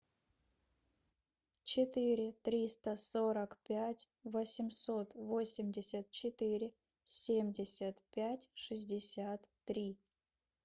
четыре триста сорок пять восемьсот восемьдесят четыре семьдесят пять шестьдесят три